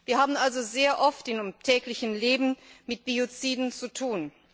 Wir haben also sehr oft im täglichen Leben mit Bioziden zu tun.